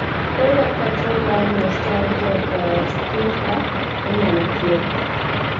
ere kaka tuwo mar notalgia paresthetica inyalo thiedh?